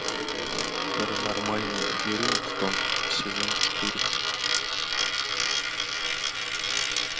паранормальный веллингтон сезон четыре